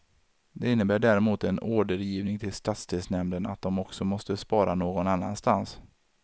Det innebär däremot en ordergivning till stadsdelsnämnden att de också måste spara någon annanstans.